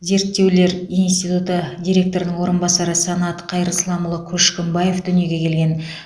зерттеулер институты директорының орынбасары санат қайырсламұлы көшкімбаев дүниеге келген